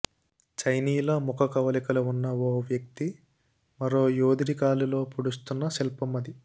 చైనీయుల ముఖ కవళికలు ఉన్న ఓ వ్యక్తి మరో యోధుడి కాలులోకి పొడుస్తున్న శిల్పం అది